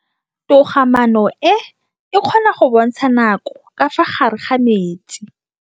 Toga-maanô e, e kgona go bontsha nakô ka fa gare ga metsi.